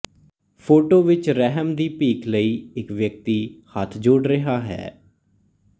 photo ਵਿੱਚ ਰਹਿਮ ਦੀ ਭੀਖ ਲਈ ਇੱਕ ਵਿਅਕਤੀ ਹੱਥ ਜੋੜ ਰਿਹਾ ਹੈ